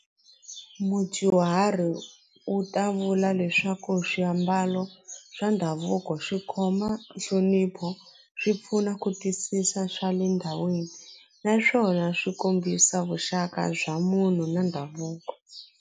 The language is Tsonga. Mudyuhari u ta vula leswaku swiambalo swa ndhavuko swi khoma nhlonipho swi pfuna ku twisisa swa le ndhawini naswona swi kombisa vuxaka bya munhu na ndhavuko.